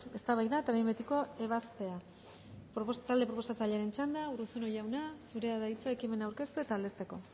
eztabaida eta behin betiko ebazpena talde proposatzailearen txanda urruzuno jauna zurea da hitza ekimena aurkeztu eta aldezteko